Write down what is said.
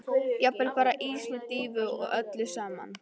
Jafnvel bara ís með dýfu og öllu saman.